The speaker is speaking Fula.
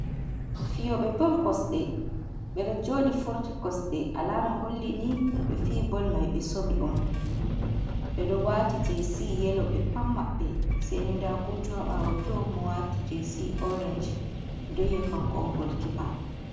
Fiyoɓe bol kosɗe ɓe ɗo jodi forti kosɗe alama holli ni ɓe fi bol mai ɓe somi on, ɓe don wati js yelo ɓe pam maɓbe seni nda goto haɓawo to mo wati js orange mi ɗon yiya kanko on gol kipa.